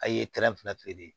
A' ye fila feere